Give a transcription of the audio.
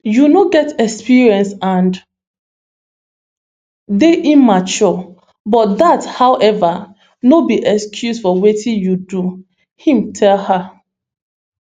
you no get experience and dey immature but dat however no be excuse for wetin you do im tell her